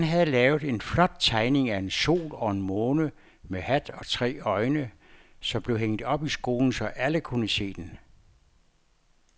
Dan havde lavet en flot tegning af en sol og en måne med hat og tre øjne, som blev hængt op i skolen, så alle kunne se den.